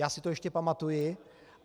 Já si to ještě pamatuji.